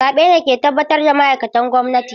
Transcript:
Zaɓe ne ke tabbatar da ma’aikatan gwamnati.